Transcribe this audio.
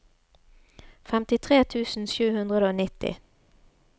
femtitre tusen sju hundre og nitti